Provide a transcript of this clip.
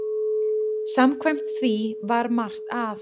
Samkvæmt því var margt að.